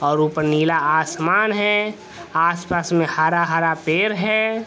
और ऊपर नीला आसमान है आस-पास में हरा-हरा पेर है।